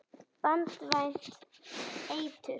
Banvænt eitur.